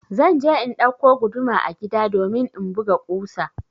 Zan je in ɗauko guduma a gida domin in buga ƙusa.